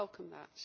I welcome that.